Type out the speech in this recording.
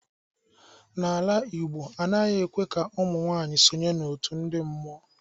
Na ala igbo, anaghi ekwe ka ụmunwaanyi sọnye n'otụ ndi mmuọ.